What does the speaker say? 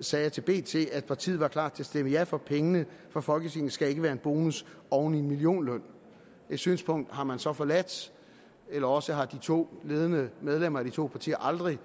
sagde til bt at partiet var klar til at stemme ja for pengene for folketinget skal ikke være en bonus oven i en millionløn det synspunkt har man så forladt eller også har de to ledende medlemmer af de to partier aldrig